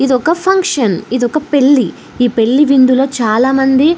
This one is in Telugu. ఇదొక ఫంక్షన్ . ఇదొక పెళ్లి. ఈ పెళ్లి విందులో చాలా మంది --